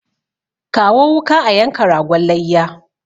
Kawo wuka a yanka ragon layya!